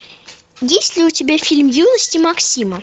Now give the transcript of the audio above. есть ли у тебя фильм юность максима